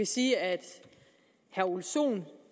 sige at herre ole sohn